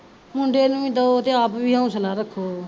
ਮੁੰਡੇ ਨੂੰ ਵੀ ਦਿਉ ਤੇ ਆਪ ਵੀ ਹੋਸਲਾ ਰੱਖੋ